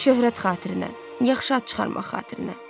Şöhrət xatirinə, yaxşı ad çıxarmaq xatirinə.